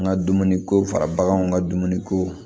N ka dumuni ko fara baganw ka dumuniko